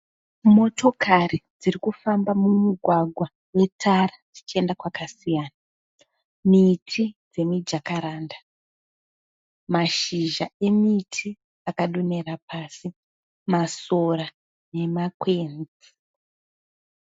Motokari dziri kufamba mumugwagwa metara dzichienda kwakasiyana. Miti dzemiJacaranda. Mashizha emiti akadonhera pasi. Masora nemakwenzi.